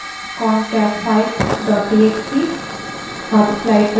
cat concatfile dot txt